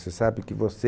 Você sabe que você...